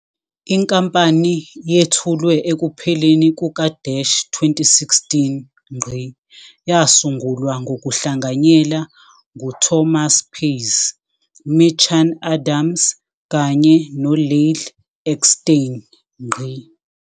Inkampani yethulwe ekupheleni kuka-2016. Yasungulwa ngokuhlanganyela nguThomas Pays, Mitchan Adams kanye noLyle Eckstein.